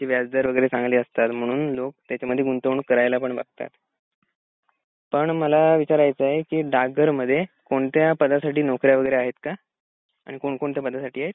व्याज दर वगैरे चांगले असतात म्हणून लोक त्याच्या मध्ये गुंतवणूक करायला पण बघतात. पण मला विचारच आहे डाक घर मध्ये कोणत्या पदासाठी नौकऱ्या वगैरे आहेत का? आणि कोण कोणत्या पदासाठी आहेत?